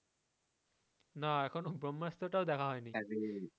না এখনও ব্রহ্মাস্ত্র টাও দেখা হয়নি।